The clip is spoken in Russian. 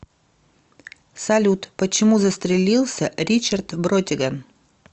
салют почему застрелился ричард бротиган